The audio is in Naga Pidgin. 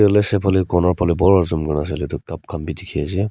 corner phalae bhal pa zoom kurna sailae tu cup khan bi dikhiase.